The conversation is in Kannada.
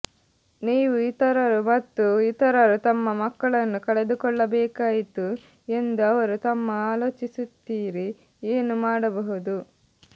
ನೀವು ಇತರರು ಮತ್ತು ಇತರರು ತಮ್ಮ ಮಕ್ಕಳನ್ನು ಕಳೆದುಕೊಳ್ಳಬೇಕಾಯಿತು ಎಂದು ಅವರು ತಮ್ಮ ಆಲೋಚಿಸುತ್ತೀರಿ ಏನು ಮಾಡಬಹುದು